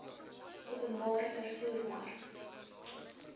openbare vervoer mark